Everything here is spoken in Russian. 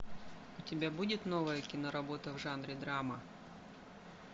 у тебя будет новая киноработа в жанре драма